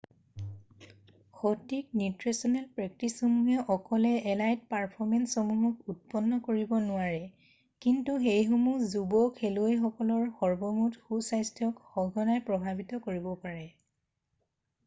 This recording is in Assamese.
সঠিক নিউট্ৰেছনেল প্ৰেক্টিছসমূহে অকলে এলাইট পাৰফৰ্মেঞ্চসমূহক উৎপন্ন কৰিব নোৱাৰে কিন্তু সেইসমূহে যুৱ খেলুৱৈসকলৰ সৰ্বমুঠ সুস্থাস্থ্যক সঘনাই প্ৰভাৱিত কৰিব পাৰে